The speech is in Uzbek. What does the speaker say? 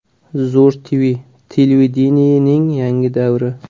Zo‘r TV – televideniyening yangi davri.